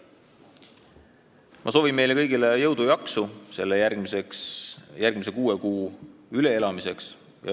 Ma soovin meile kõigile jõudu ja jaksu järgmise kuue kuu üleelamiseks!